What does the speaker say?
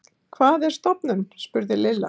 Hvað er stofnun? spurði Lilla.